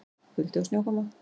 Kuldi og snjókoma